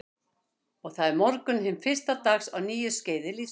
Og það er morgunn hins fyrsta dags á nýju skeiði lífs míns.